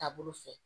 Taabolo fɛ